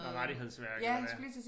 Noget rettighedsværk eller hvad